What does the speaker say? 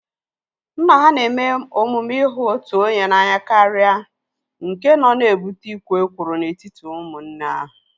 Nna ha na-eme omume ihu otu onye n'anya karịa nke nọ na-ebute ikwo ekworo n'etiti ụmụnne ahu